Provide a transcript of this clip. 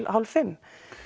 hálf fimmta